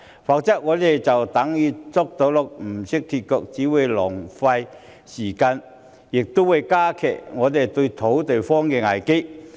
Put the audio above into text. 否則，我們就等於"捉到鹿不懂脫角"，只會浪費時間，加劇土地荒的危機。